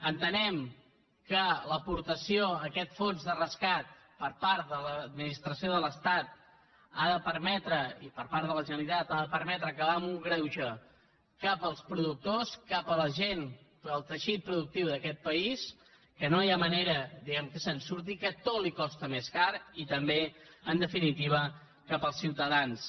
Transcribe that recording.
entenem que l’aportació a aquest fons de rescat per part de l’administració de l’estat ha de permetre i per part de la generalitat acabar un greuge cap als productors cap a la gent cap al teixit productiu d’aquest país que no hi ha manera que se’n surti que tot li costa més car i també en definitiva cap als ciutadans